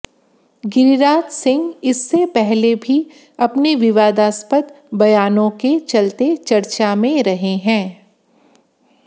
गिरिराज सिंह इससे पहले भी अपने विवादस्पद बयानों के चलते चर्चा में रहे हैं